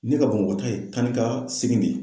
Ne ka bamakɔta ye taanikasegin de ye.